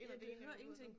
Ja jeg hører ingenting